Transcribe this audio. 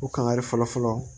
U kan kari fɔlɔfɔlɔ